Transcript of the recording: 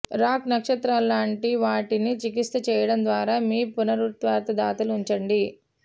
rock నక్షత్రాలు లాంటి వాటిని చికిత్స చేయడం ద్వారా మీ పునరావృత దాతలు ఉంచండి